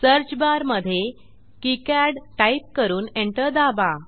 search बारमधे किकाड type करून एंटर दाबा